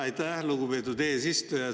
Aitäh, lugupeetud eesistuja!